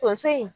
Tonso in